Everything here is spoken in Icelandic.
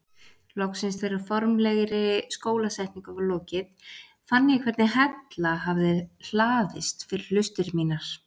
Loksins þegar formlegri skólasetningu var lokið fann ég hvernig hella hafði hlaðist fyrir hlustir mínar.